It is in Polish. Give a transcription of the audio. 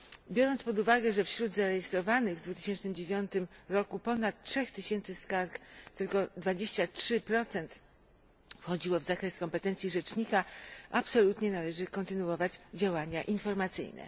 Biorąc pod uwagę, że wśród zarejestrowanych w 2009 roku ponad trzech tysięcy skarg tylko 23 wchodziło w zakres kompetencji rzecznika, absolutnie należy kontynuować działania informacyjne.